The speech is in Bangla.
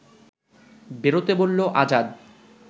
বেরোতে বলল আজাদ